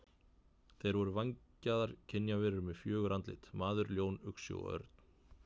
Þeir voru vængjaðar kynjaverur með fjögur andlit: maður, ljón, uxi og örn.